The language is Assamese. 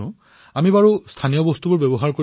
২০২২ চনত আমি আমাৰ স্বাধীনতাৰ ৭৫ বৰ্ষত ভৰি দিম